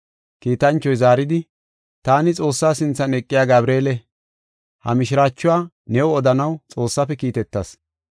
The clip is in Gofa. Kiitanchoy zaaridi, “Taani Xoossaa sinthan eqiya Gabreele. Ha mishiraachuwa new odanaw Xoossaafe kiitetas.